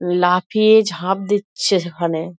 লাফিয়ে ঝাঁপ দিচ্ছে সেখানে ।